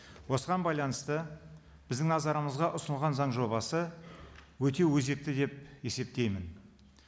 осыған байланысты біздің назарымызға ұсынылған заң жобасы өте өзекті деп есептеймін